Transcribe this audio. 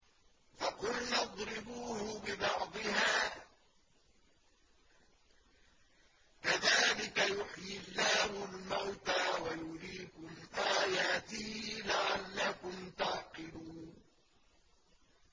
فَقُلْنَا اضْرِبُوهُ بِبَعْضِهَا ۚ كَذَٰلِكَ يُحْيِي اللَّهُ الْمَوْتَىٰ وَيُرِيكُمْ آيَاتِهِ لَعَلَّكُمْ تَعْقِلُونَ